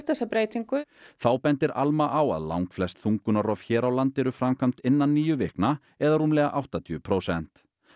þessa breytingu þá bendir Alma á að langflest þungunarrof hér á landi eru framkvæmd innan níu vikna eða rúmlega áttatíu prósent